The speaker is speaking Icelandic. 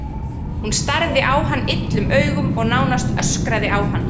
Hún starði á hann illum augum og nánast öskraði á hann.